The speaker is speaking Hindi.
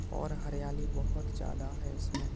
और हरियाली बहोत ज्यादा है इसमें --